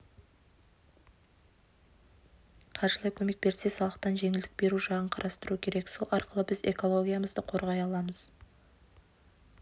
қаржылай көмек берсе салықтан жеңілдік беру жағын қарастыру керек сол арқылы біз экологиямызды қорғай аламыз